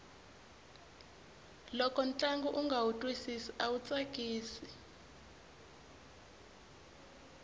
loko ntlangu unga wu twisisi awu tsakisi